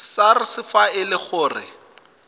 sars fa e le gore